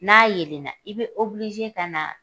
N'a yelenna i bɛ ka na